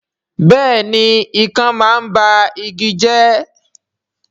Bẹ́ẹ̀ni ikán máa ń ba igi jẹ́